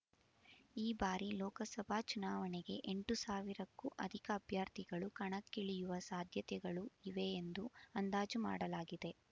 ಈ ಬಾರಿ ಲೋಕಸಭಾ ಚುನಾವಣೆಗೆ ಎಂಟು ಸಾವಿರಕ್ಕೂ ಅಧಿಕ ಅಭ್ಯರ್ಥಿಗಳು ಕಣಕ್ಕಿಳಿಯುವ ಸಾಧ್ಯತೆಗಳು ಇವೆ ಎಂದು ಅಂದಾಜು ಮಾಡಲಾಗಿದೆ